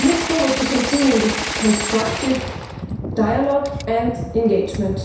We look forward to continuing this constructive dialogue and engagement.